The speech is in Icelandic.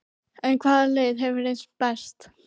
En hvaða leið hefur reynst best?